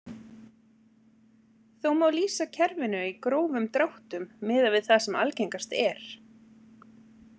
Þó má lýsa kerfinu í grófum dráttum miðað við það sem algengast er.